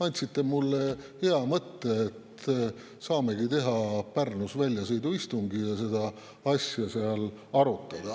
Andsite mulle hea mõtte, et saamegi teha Pärnus väljasõiduistungi ja seda asja seal arutada.